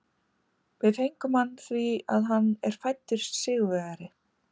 Við fengum hann því að hann er fæddur sigurvegari.